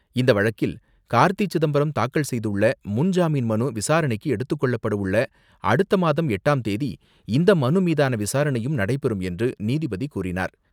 இந்த வழக்கில் கார்த்தி சிதம்பரம் தாக்கல் செய்துள்ள முன்ஜாமீன் மனு விசாரணைக்கு எடுத்துக் கொள்ளப்படவுள்ள அடுத்த மாதம் எட்டாம் தேதி இந்த மனு மீதான விசாரணையும் நடைபெறும் என்று நீதிபதி கூறினார்.